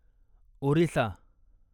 Orissa